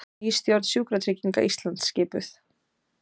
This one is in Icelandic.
Ný stjórn Sjúkratrygginga Íslands skipuð